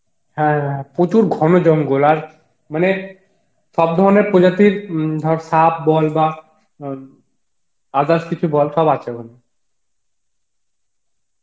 হ্যাঁ প্রচুর ঘনজঙ্গল আর মানে সব ধরনের প্রজাতির উম ধর সাপ বল বা অ্যাঁ others কিছু বল সব আছে ওখানে